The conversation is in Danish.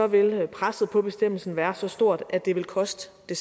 vil presset på bestemmelsen være så stort at det vil koste